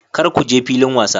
Kar ku je filin wasa.